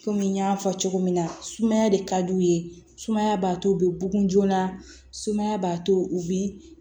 Kɔmi n y'a fɔ cogo min na sumaya de ka d'u ye sumaya b'a to u bɛ bugun joona sumaya b'a to u bɛ